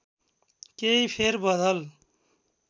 केही फेर बदल